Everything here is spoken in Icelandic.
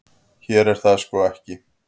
Hér er það ekki svo.